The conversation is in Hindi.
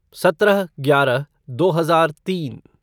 सत्रह ग्यारह दो हजार तीन